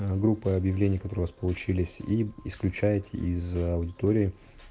аа группы объявлений которые получились и исключайте из аудитории